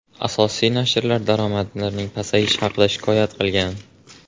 Asosiy nashrlar daromadlarning pasayishi haqida shikoyat qilgan.